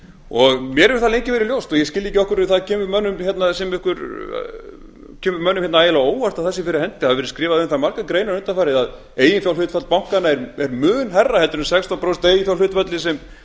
mér hefur það lengi verið ljóst og ég skil ekki af hverju það kemur mönnum ægilega á óvart að það sé fyrir hendi það hafi verið skrifaðar um það margar greinar undanfarið að eiginfjárhlutfall bankanna er mun hærra heldur en sextán prósent eiginfjárhlutfallið